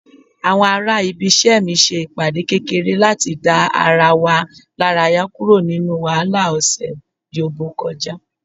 àwọn ará ibise mi se ìpàdé kekere lati da ara wa laraya kuro ninu wahala ọsẹ yobo kọjá